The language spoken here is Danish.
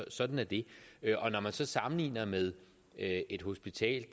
sådan er det når man så sammenligner med et hospital